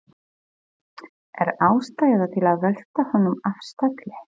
Er ástæða til að velta honum af stalli?